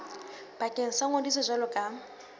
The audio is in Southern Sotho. bakeng sa ngodiso jwalo ka